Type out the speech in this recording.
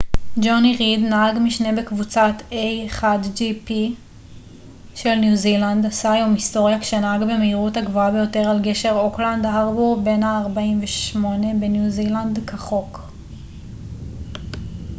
ג'וני ריד נהג משנה בקבוצת a1gp של ניו זילנד עשה היום היסטוריה כשנהג במהירות הגבוהה ביותר על גשר אוקלנד הארבור בן ה-48 בניו זילנד כחוק